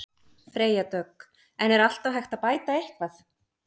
Freyja Dögg: En er alltaf hægt að bæta eitthvað?